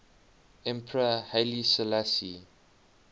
emperor haile selassie